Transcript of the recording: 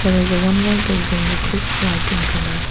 there is a one more building which is white in colour.